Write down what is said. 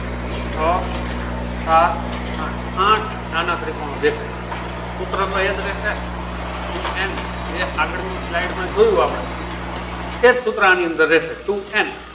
છ સાત આઠ આઠ નાના ત્રિકોણો દેખાય છે. સૂત્ર તો એજ રેસે. two n જે આગળ ની slide જોયું આપડે એ જ સૂત્ર આની અંદર રહશે two n